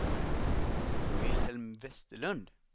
Wilhelm Vesterlund